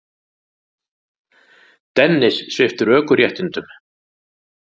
Dennis sviptur ökuréttindum